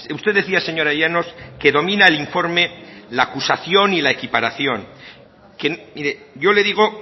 usted decía señora llanos que domina el informe la acusación y la equiparación mire yo le digo